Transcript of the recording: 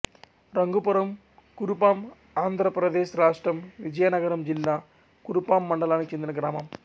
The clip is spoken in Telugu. రంగుపురం కురుపాం ఆంధ్ర ప్రదేశ్ రాష్ట్రం విజయనగరం జిల్లా కురుపాం మండలానికి చెందిన గ్రామం